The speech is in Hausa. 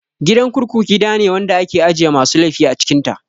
Gidan kurkuku gidane wanda ake ajiye masu laifi a cikin ta